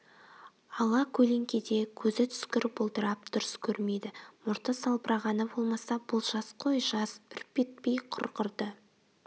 ала көлеңкеде көзі түскір бұлдырап дұрыс көрмейді мұрты салбырағаны болмаса бұл жас қой жас үрпитпей құрғырды